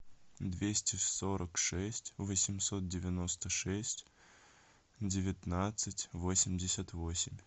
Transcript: двести сорок шесть восемьсот девяносто шесть девятнадцать восемьдесят восемь